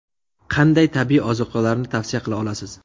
Qanday tabiiy ozuqalarni tavsiya qila olasiz?